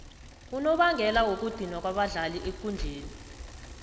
unobangela wokudinwa kwabadlali ekundleni